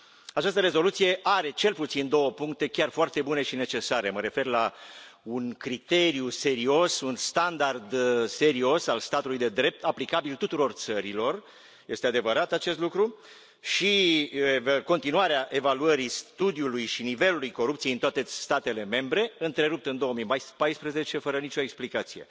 Această rezoluție are cel puțin două puncte chiar foarte bune și necesare, mă refer la un criteriu serios, un standard serios al statului de drept aplicabil tuturor țărilor este adevărat acest lucru și continuarea evaluării studiului și nivelului corupției în toate statele membre, întrerupt în 2014 fără nici o explicație.